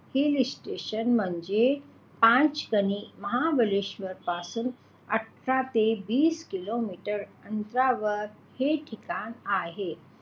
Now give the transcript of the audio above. hill station म्हणजे पाचगणी महाबळेश्वर पासून आठरा ते वीस किलोमीटर अंतरावर हे ठिकाण आहे